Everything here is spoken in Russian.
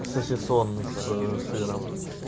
сосисон ээ с сыром